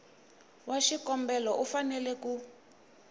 wa xikombelo u fanele ku